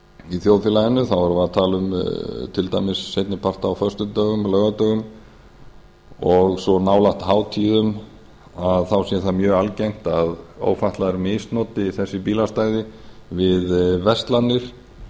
í þjóðfélaginu þá erum við að tala um til dæmis seinni part á föstudögum laugardögum og svo nálægt hátíðum að þá sé það mjög algengt að ófatlaðir misnoti þessi bílastæði við verslanir